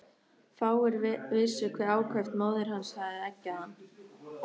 Fáir vissu hve ákaft móðir hans hafði eggjað hann.